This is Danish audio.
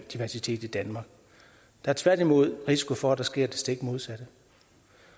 er tværtimod risiko for at der sker det stik modsatte